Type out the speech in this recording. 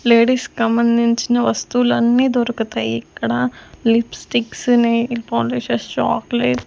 Ladies కంబంధించిన వస్తువులన్నీ దొరుకుతాయి ఇక్కడ లిప్స్టిక్స్ నెయిర్ పాలిషెస్ చాక్లెట్ .